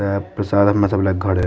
ये प्रसाद हमें सब लेके घरे --